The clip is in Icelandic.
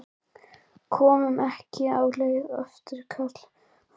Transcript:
Kom ekki á óvart hversu slakir þeir mættu til leiks?